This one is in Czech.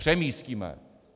Přemístíme!